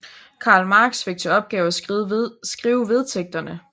Karl Marx fik til opgave at skrive vedtægterne